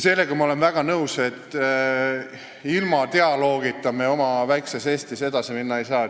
Sellega olen ma väga nõus, et ilma dialoogita me oma väikeses Eestis edasi minna ei saa.